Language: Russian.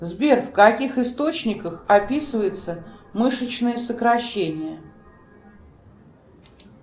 сбер в каких источниках описывается мышечное сокращение